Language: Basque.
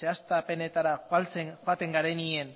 zehaztapenetara joaten garenean